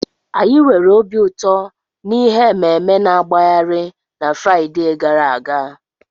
Anyị nwere obi ụtọ na ihe ememe-na-agbagharị na Fraịde gara aga.